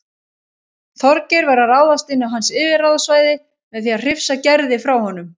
Þorgeir var að ráðast inn á hans yfirráðasvæði með því að hrifsa Gerði frá honum.